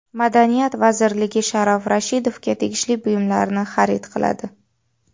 Madaniyat vazirligi Sharof Rashidovga tegishli buyumlarni xarid qiladi.